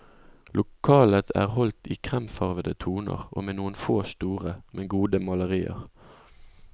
Lokalet er holdt i kremfarvede toner, og med noen få store, men gode malerier.